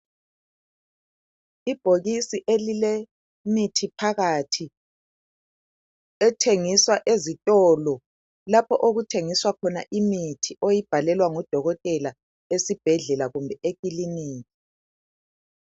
Ibhokisi elilemithi phakathi ethengiswa ezitolo lapho okuthengiswa khona imithi oyibhalelwa ngudokotela esibhedlela kumbe ekilinika.